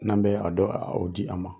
N'an bɛ a dɔ o di ma.